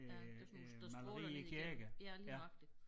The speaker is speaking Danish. Ja der sådan nogle der stråler ned igennem ja lige nøjagtig